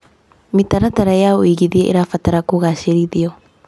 Mĩtaratara ya ũigithia ĩrabatara kũgacĩrithio.